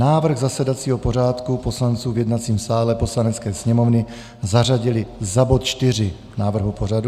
Návrh zasedacího pořádku poslanců v jednacím sále Poslanecké sněmovny - zařadili za bod 4 návrhu pořadu.